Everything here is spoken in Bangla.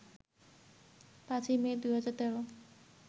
৫ই মে ২০১৩